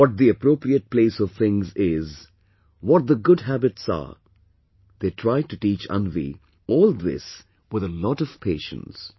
What the appropriate place of things is, what the good habits are, they tried to teach Anvi all this with a lot of patience